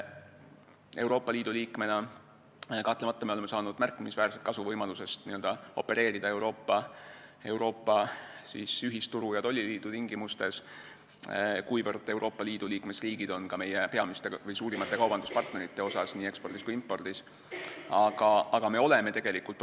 Euroopa Liidu liikmena oleme me kahtlemata saanud märkimisväärset kasu võimalusest opereerida Euroopa ühisturu ja tolliliidu tingimustes, kuivõrd Euroopa Liidu liikmesriigid on ka meie peamiste või suurimate kaubanduspartnerite seas, nii ekspordi kui ka impordi puhul.